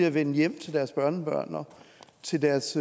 at vende hjem til deres børnebørn og til deres